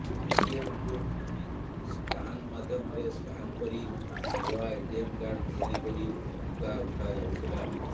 ଏଟିଏମକୁ scan ମାଧ୍ୟମରେ scan କରି ନୂଆ ଏଟିଏମ କାର୍ଡ ତିଆରି କରି ଟଙ୍କା ଉଠାଯାଉଥିଲା